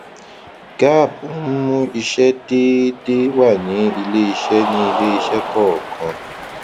gaap ń mú ìṣe déédéé wá ní iléìṣẹ ní iléìṣẹ kọọkan